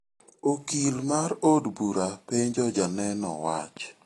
Okil mar od bura penjo janeno wach.